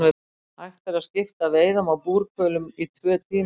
Hægt er að skipta veiðum á búrhvölum í tvö tímabil.